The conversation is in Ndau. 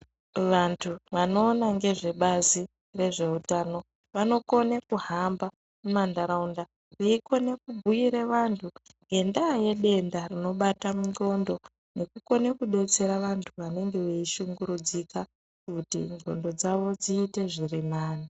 Vantu vanoona ngezve bazi rezveutano vanokone kuhamba mumantaraunda veikone kubuyira vantu ngenda yedenda rinobata mundxondo veikone kudetsera vantu vanenge vei shungurudzika kuti ndxondo dzawo dziite zvirinani.